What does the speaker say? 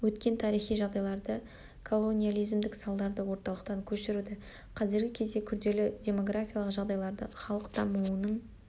өткен тарихи жағдайларды колониялизмдік салдарды орталықтан көшіруді қазіргі кезде күрделі демографиялық жағдайларды халық дамуының